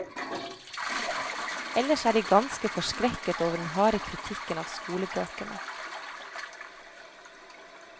Ellers er de ganske forskrekket over den harde kritikken av skolebøkene.